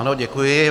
Ano, děkuji.